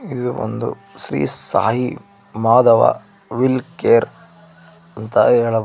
ಇದು ಒಂದು Shri Sai Madhava will care ಅಂತ ಹೇಳಬಹುದು.